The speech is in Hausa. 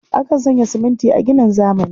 Akan sanya siminti a ginin zamani.